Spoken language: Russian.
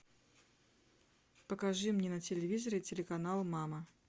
покажи мне на телевизоре телеканал мама